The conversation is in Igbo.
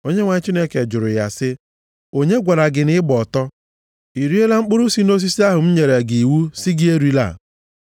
Onyenwe anyị Chineke jụrụ ya sị, “Onye gwara gị na ị gba ọtọ? I riela mkpụrụ si nʼosisi ahụ m nyere gị iwu sị gị erila?”